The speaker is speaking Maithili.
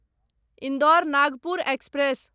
इन्दौर नागपुर एक्सप्रेस